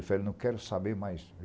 Eu falei, não quero saber mais.